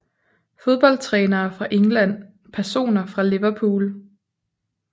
Fodboldtrænere fra England Personer fra Liverpool